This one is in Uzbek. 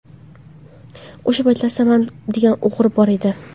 O‘sha paytlar Samad degan o‘g‘ri bor edi.